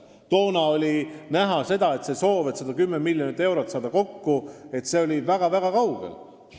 Siis tundus, et eesmärk saada kokku 110 miljonit eurot on väga-väga kaugel.